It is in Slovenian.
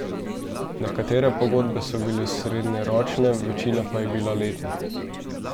Nekatere pogodbe so bile srednjeročne, večina pa je bila letnih.